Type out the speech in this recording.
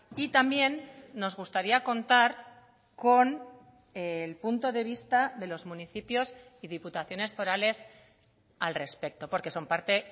y también nos gustaría contar con el punto de vista de los municipios y diputaciones forales al respecto porque son parte